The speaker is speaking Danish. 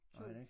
2